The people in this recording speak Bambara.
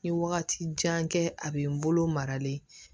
N ye wagati jan kɛ a bɛ n bolo maralen